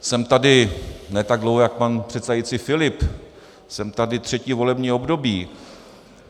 Jsem tady ne tak dlouho jak pan předsedající Filip, jsem tady třetí volební období.